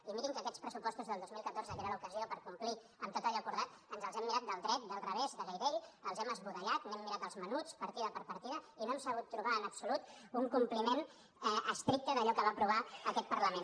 i mirin que aquests pressupostos del dos mil catorze que era l’ocasió per complir amb tot allò acordat ens els hem mirat del dret del revés de gairell els hem esbudellat n’hem mirat els menuts partida per partida i no hem sabut trobar en absolut un compliment estricte d’allò que va aprovar aquest parlament